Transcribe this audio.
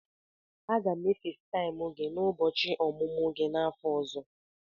Aga m e Fesitaimu gị n'ụbọchị ọmụmụ gị n'afọ ọzọ.